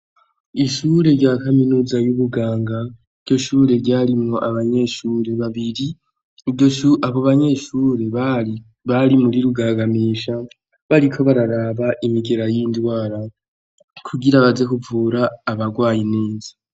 Ishure rya kaminuza y'ubuganga ryo shure ryarimwo abanyeshure babiri iryo cu abo banyeshure ai bari muri rugagamisha bariko bararaba imigera y'indwara kugira baze kuvura abarwayi neza.